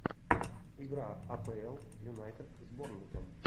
игра апл юнайтед с борнмутом